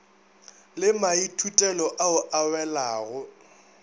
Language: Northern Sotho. le maithutelo ao a welago